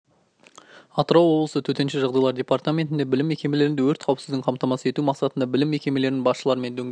атырау облысы төтенше жағдайлар департаментінде білім мекемелерінде өрт қауіпсіздігін қамтамасыз ету мақсатында білім мекемелерінің басшыларымен дөңгелек